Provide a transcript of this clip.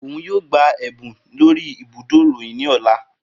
Oun yoo gba ẹbun lori ibudo iroyin ni ọla.